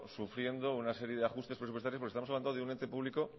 sufriendo una serie de ajustes presupuestarios porque estamos hablando de un ente público